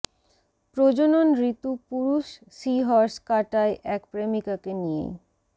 প্রজনন ঋতু পুরুষ সি হর্স কাটায় এক প্রেমিকাকে নিয়েই